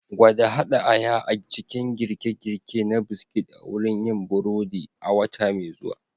Gwada haɗa aya a cikin girke-girke na biskit a wurin yin burodi a wata mai zuwa.